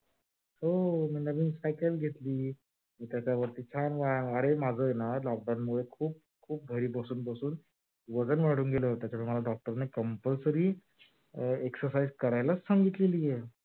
हो मी नवीन cycle पण घेतला त्याच्यावरती छान व्यायाम होतो. अरे lock down मुळे वजन वाढून गेल होत माझ मला doctor नी compulsory exercise करायलाच सांगीतलेली आहे.